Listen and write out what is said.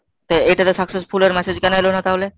তো এটাতে successful এর message কেন এলো না তাহলে?